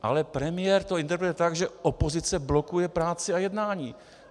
Ale premiér to interpretuje tak, že opozice blokuje práci a jednání.